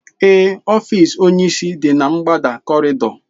Ee ọfiisi onyisi dị na ngbada kọrịịdọ